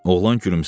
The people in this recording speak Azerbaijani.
Oğlan gülümsədi.